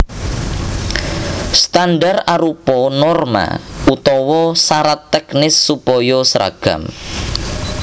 Standar arupa norma utawa sarat tèknis supaya sragam